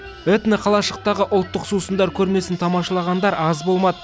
этноқалашықтағы ұлттық сусындар көрмесін тамашалағандар аз болмады